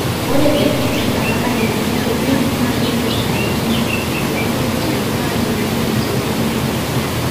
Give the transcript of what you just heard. ore ndaiki te nkata nayieuni oleng na keiput enkaji ino too ntokitin naayieuni tesiokinoto